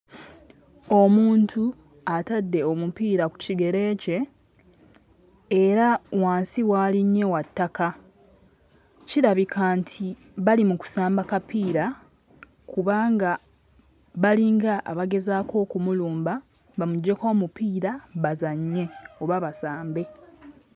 Omuntu atadde omupiira ku kigere kye era wansi w'alinnye wa ttaka. Kirabika nti bali mu kusamba kapiira kubanga balinga abagezaako okumulumba bamuggyeko omupiira bazannye oba basambe.